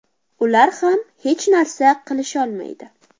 Ular ham hech narsa qilisholmaydi.